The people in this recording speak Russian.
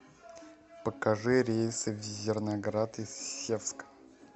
покажи рейсы в зерноград из севска